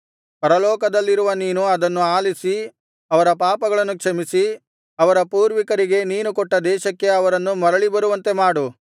ಪರಲೋಕದಲ್ಲಿರುವ ನೀನು ಅದನ್ನು ಆಲಿಸಿ ಅವರ ಪಾಪಗಳನ್ನು ಕ್ಷಮಿಸಿ ಅವರ ಪೂರ್ವಿಕರಿಗೆ ನೀನು ಕೊಟ್ಟ ದೇಶಕ್ಕೆ ಅವರನ್ನು ಮರಳಿ ಬರುವಂತೆಮಾಡು